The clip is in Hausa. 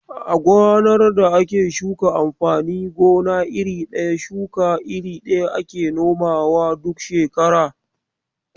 A gonar da ake shuka amfanin gona iri ɗaya, shuka iri ɗaya ake nomawa duk shekara.